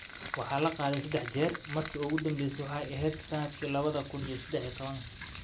Waxaa la qaaday saddex jeer, markii ugu dambeysay waxay ahayd sanadkii lawadha kun iyo sedex iyo tawan.